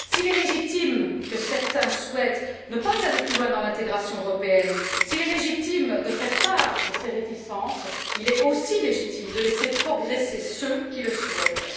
S'il est légitime que certains souhaitent ne pas aller plus loin dans l'intégration européenne, s'il est légitime de faire part de ses réticences, il est aussi légitime de laisser progresser ceux qui le souhaitent.